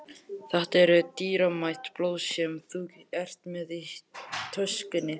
Þetta eru dýrmæt blöð sem þú ert með í töskunni.